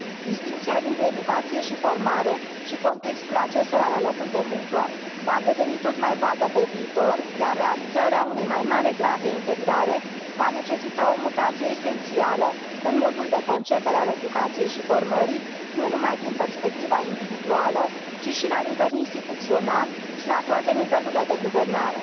Distincția dintre educație și formare, alături de contextul acestora la locul de muncă, va deveni tot mai vagă pe viitor, iar realizarea unui mai mare grad de integrare va necesita o mutație esențială în modul de concepere a educației și formării, nu numai din perspectiva individuală, ci și la nivel instituțional și la toate nivelurile de guvernare.